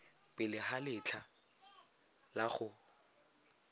pele ga letlha la go